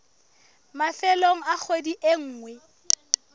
mafelong a kgwedi e nngwe